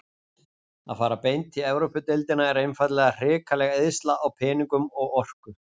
Að fara beint í Evrópudeildina er einfaldlega hrikaleg eyðsla á peningum og orku.